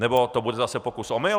Nebo to bude zase pokus - omyl?